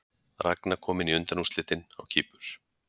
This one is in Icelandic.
Ragna komin í undanúrslitin á Kýpur